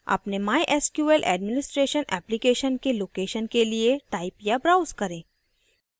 अपने mysql administration application के location के लिए type या browse करें